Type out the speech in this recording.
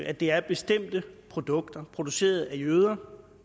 at det er bestemte produkter produceret af jøder